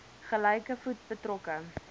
gelyke voet betrokke